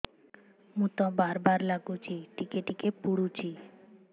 ମୁତ ବାର୍ ବାର୍ ଲାଗୁଚି ଟିକେ ଟିକେ ପୁଡୁଚି